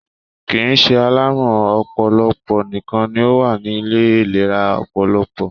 kìí ṣe alárùn ọpọlọpọ nìkan ni ó wà ni Ilé ìlera ọpọlọpọ